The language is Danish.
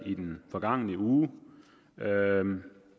i den forgangne uge